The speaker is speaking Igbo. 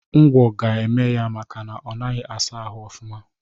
Ụgwo ga-eme ya makana onaghi asa ahụ ọfuma.